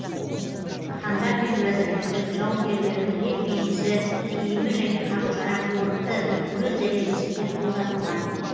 хандар мен уәзірлердің жауынгерлердің бет бейнесі киімі және қару жарақ орынды өз дәрежесінде қолданылған